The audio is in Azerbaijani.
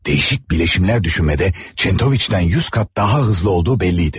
Dəyişik bileşimlər düşünmədə Çentoviç'dən 100 qat daha hızlı olduğu bəlli idi.